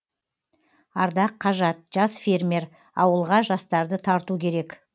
ардақ қажат жас фермер ауылға жастарды тарту керек